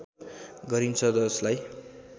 गरिन्छ जसलाई